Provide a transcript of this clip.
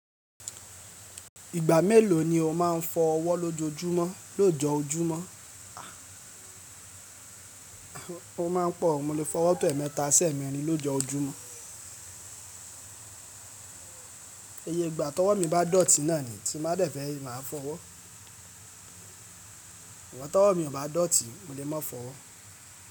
Ìgbà mélòó ni o máa ń fọ ọwọ́ lójoojúmọ́? Lóòjọ́-ojúmọ́ Ó máa ń pọ̀ o, mo lè fọ ọwọ́ tó ẹ̀ẹ̀mẹta sí ẹ̀ẹ̀mẹ́rin lójoojúmọ́. Iye ìgbà tọ́wọ́ mi bá dọ̀tí náà ni tí mo bá dẹ̀ fẹ́ máa fọ ọwọ́. Ṣùgbọ́n tọ́wọ́ mi ò bá dọ̀tí, mo lè má fọ ọwọ́.